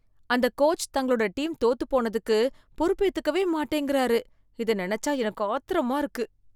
அந்த கோச்சு தங்களோட டீம் தோத்துப் போனதுக்கு பொறுப்பேத்துக்கவே மாட்டேங்கிறாரு, இத நெனச்சா எனக்கு ஆத்திரமா இருக்கு